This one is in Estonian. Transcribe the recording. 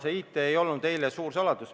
See IT-teema ei olnud eile suur saladus.